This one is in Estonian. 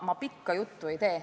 Ma pikka juttu ei tee.